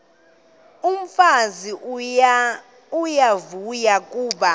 umfazi uyavuya kuba